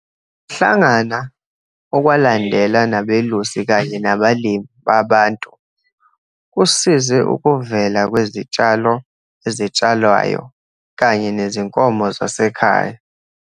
Ukuhlangana okwalandela nabelusi kanye nabalimi baBantu kusize ukuvela kwezitshalo ezitshalwayo kanye nezinkomo zasekhaya,